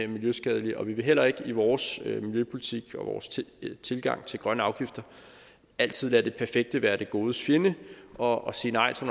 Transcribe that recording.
miljøskadelige og vi vil heller ikke i vores miljøpolitik og vores tilgang til grønne afgifter altid lade det perfekte være det godes fjende og sige nej til